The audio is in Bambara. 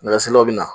Nɛgɛsilaw bɛ na